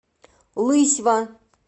лысьва